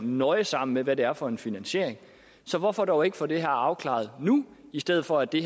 nøje sammen med hvad det er for en finansiering så hvorfor dog ikke få det her afklaret nu i stedet for at det